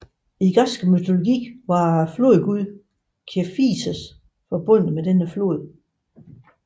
I græsk mytologi var flodguden Kephissos forbundet med denne flod